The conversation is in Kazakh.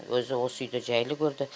өзі осы үйді жайлы көрді